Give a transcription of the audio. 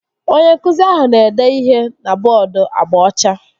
Onye nkụzi ahụ na-ede ihe na bọọdu agba ọcha